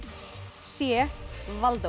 c